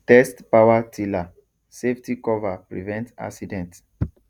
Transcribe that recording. test power tiller safety cover prevent accident